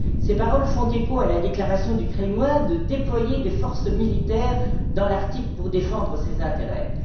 Ces paroles font écho à la déclaration du Kremlin de déployer des forces militaires dans l'Arctique pour défendre ses intérêts.